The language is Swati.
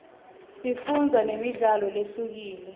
sifundzo nemidlalo lehlukile